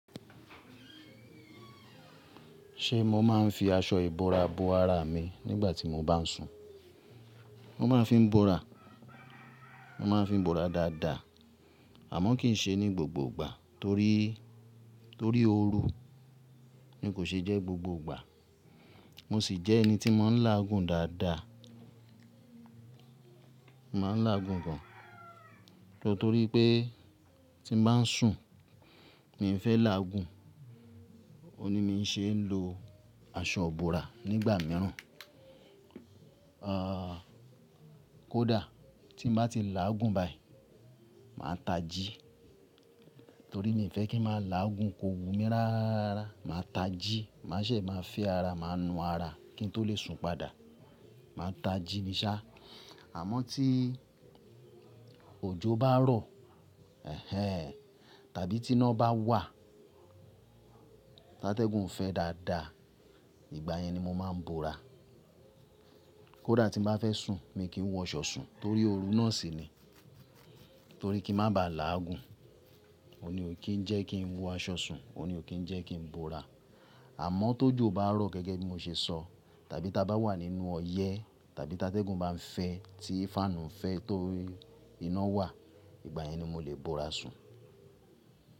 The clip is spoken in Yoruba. Ṣé mo máa ń fi aṣọ ìbora bo ara mi nígbà tí mo bá ń sùn? Mo máa ń fi bora, mo máa ń fi bora dáadáa, àmọ́ kì í ṣe ní gbogbo ìgbà torí, torí ooru ni kò ṣe jẹ́ gbogbo ìgbà. Mo sì jẹ́ ẹni tí maa ń láàgùn dáadáa. Mo máa ń láàgùn gan, nítorí pé tí mo bá ń sùn, mi n fẹ́ láàgùn, òhun ni mi ṣe ń lo aṣọ ìbora nígbà mìíràn. Kódà tí mo bá ti láàgùn báyìí, màá ta jí torí mi ò fẹ́ kí n máa láàgùn, ko wù mí rárararárárara. Màá ta jí, màá se máa fẹ́ ara, màá nu ara kí n tó lè sùn padà. Màá ta jí ni sá. Àmọ́ tí òjò bá rọ̀, ehẹ́n, tàbí tí iná bá wà, tatẹ́gùn fẹ́ dáadáa, ìgbà yẹn ni mo máa ń bora. Kódà tí mo bá fẹ́ sùn, mi kì í wọ aṣọ sùn torí ooru náà sì ni. Torí kí n má ba à láàgùn, òhun ní ò kí ń jẹ́ kí n wọ aṣọ sùn, òhun ní ò kí ń jẹ́ kí n bora. Àmọ́ tójo bá rọ̀ gẹ́gẹ́ bí mo ṣe sọ, tàbí tá bá wà nínú ọyẹ́ tàbí tatẹ́gùn bá ń fẹ́ tí fáànù ń fẹ́ torí iná wà, ìgbà yẹn ni mo le bora sùn.